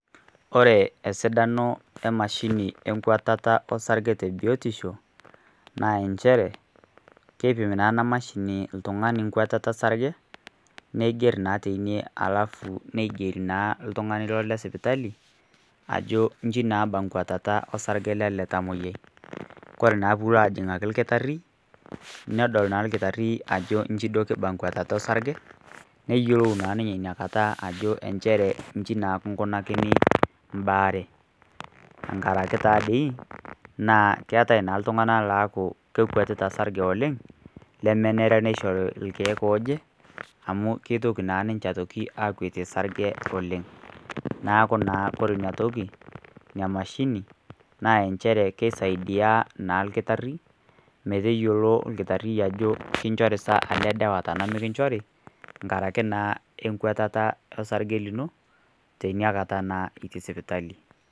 Ore esidano e mashini e kwatata o sarge te biotisho naa nchere, keipim naa ena mashini nkwatata o sarge, neiger naa teina alafu neiger naa ltung'ani ilo le sipitali ajo inji naaa eba nkwatata o sarge lele tamwoiyiai. Kore naa pee ilo ajing'aki olkitari, nedol naa olkitari ajo inji naa eba enkwetata osarge, neyiolou naa ninye ina kata ajo inchere inji naa kingunakini mbaar, enkaraki naa dei, keatai naa iltung'ana laaku kekwetita osarge oleng', lemenare neishori ilkeek looje, amu keitoki naa ninje aitoki aakwetie osarge oleng', neaku naa ore ina toki, naa emashini, naa enjere keisaidia naa olkitari, metayiolo olkitari nchere ajo kinchori saai aja o ana mekinchori, enkaraki naa enkwatata osarge lino, teina kata naa itii sipitali.